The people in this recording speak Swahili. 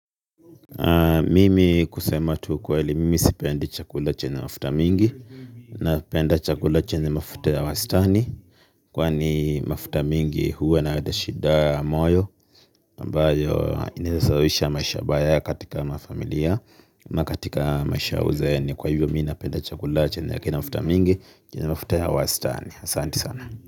Mimi kusema tu ukweli mimi sipendi chakula chenye mafuta mingi. Na penda chakula chenye mafuta ya wastani. Kwani mafuta mingi huwa inaleta shida ya moyo ambayo inaeza sababisha maisha mbaya katika mafamilia. Na katika maisha ya uzeeni kwa hivyo mi napenda chakula chenye kina mafuta mingi. Chenye mafuta ya wastani asanti sana.